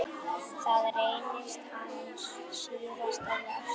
Það reynist hans síðasta verk.